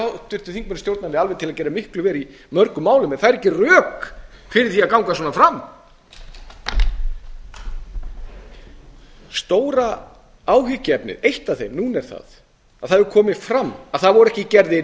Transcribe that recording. háttvirtum þingmanni stjórnarliða til að gera miklu verr í mörgum málum en það eru ekki rök fyrir því að ganga svona fram eitt af stóru áhyggjuefnunum núna er að það hefur komið fram að það voru ekki gerðir